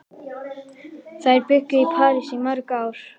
Þær bjuggu í París í mörg ár.